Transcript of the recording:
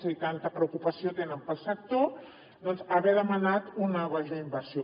si tanta preocupació tenen pel sector haver demanat una major inversió